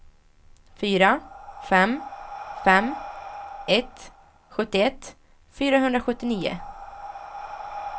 fyra fem fem ett sjuttioett fyrahundrasjuttionio